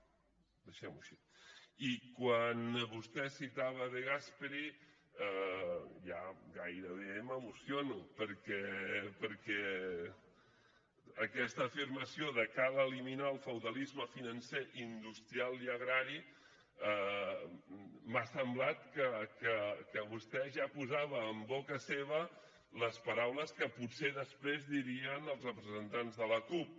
i quan vostè citava de gasperi ja gairebé m’emociono perquè amb aquesta afirmació de cal eliminar el feudalisme financer industrial i agrari m’ha semblat que vostè ja posava en boca seva les paraules que potser després dirien els representants de la cup